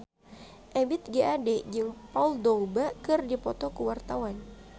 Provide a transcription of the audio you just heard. Ebith G. Ade jeung Paul Dogba keur dipoto ku wartawan